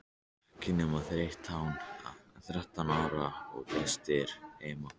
Ekki nema þrettán ára og gestir heima!